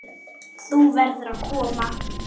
Þú verður að koma!